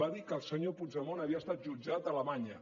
va dir que el senyor puigdemont havia estat jutjat a alemanya